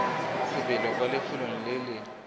sebele kwa lefelo le le